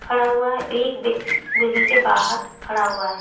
खड़ा हुआ है एक व्यक्ति बिल्डिंग के बाहर खड़ा हुआ है।